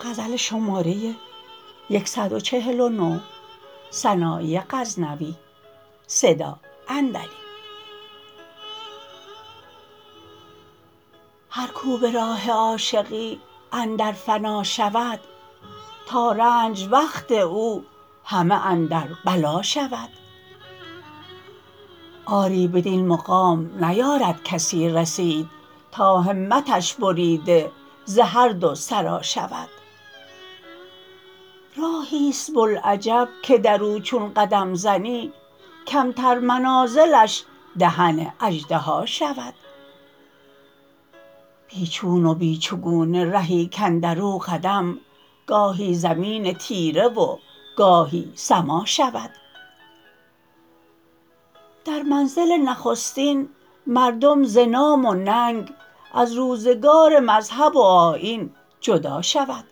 هر کو به راه عاشقی اندر فنا شود تا رنج وقت او همه اندر بلا شود آری بدین مقام نیارد کسی رسید تا همتش بریده ز هر دو سرا شود راهیست بلعجب که درو چون قدم زنی کمتر منازلش دهن اژدها شود بی چون و بی چگونه رهی کاندر و قدم گاهی زمین تیره و گاهی سما شود در منزل نخستین مردم ز نام و ننگ از روزگار مذهب و آیین جدا شود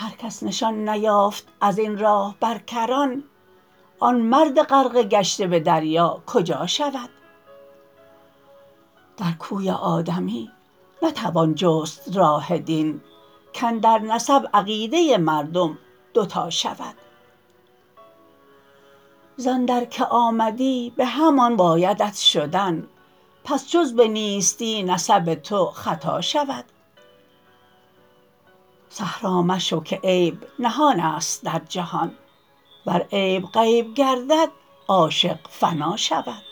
هر کس نشان نیافت از این راه بر کران آن مرد غرقه گشته به دریا کجا شود در کوی آدمی نتوان جست راه دین کاندر نسب عقیده مردم دو تا شود زاندر که آمدی به همان بایدت شدن پس جز به نیستی نسب تو خطا شود صحرا مشو که عیب نهانست در جهان ور عیب غیب گردد عاشق فنا شود